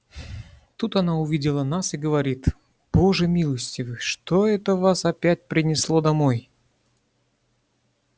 тут она увидела нас и говорит боже милостивый что это вас опять принесло домой